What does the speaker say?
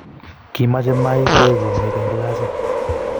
kimachei my koee komik eng glasit